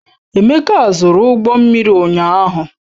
Emeka zụrụ ụgbọ mmiri ụnyaahụ.